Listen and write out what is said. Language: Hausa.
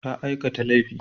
Ta aikata laifi.